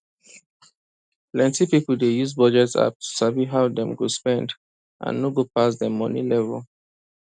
plenty people dey use budget app to sabi how dem dey spend and no go pass dem money level